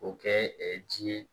O kɛ ji ye